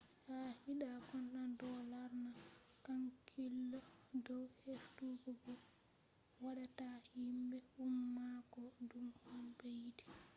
qaa’ida content do lorna hankilo dow heftugo ko wadata himbe umma ko dume on be yidi